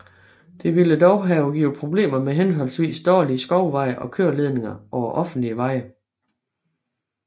Det ville dog have givet problemer med henholdsvis dårlige skovveje og køreledninger over offentlige veje